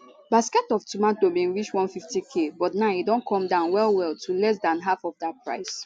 basket of tomato bin reach 150k but now e don come down well well to less dan half of dat price